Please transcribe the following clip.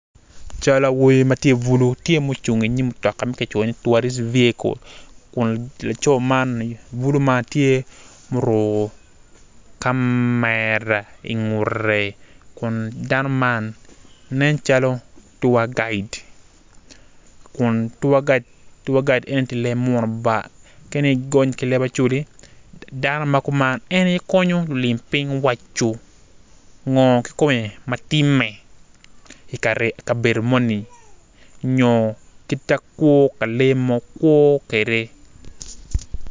Cal awobi ma tye bulu tye ma ocung inyim mutoka ma kicoyo ni tourist vehicle kun laco man bulu ma tye muruko kamera ingute kun dan man nen calo tour guide dano ma kuman en aye konyo lulim piny waco ngo kikome ma timme i kabedo moni nyo kita kwo pa lee mo kwo kwede.